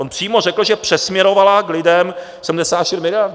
On přímo řekl, že přesměrovala k lidem 74 miliard.